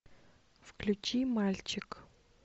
включи мальчик